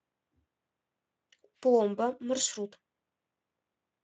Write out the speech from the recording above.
пломба маршрут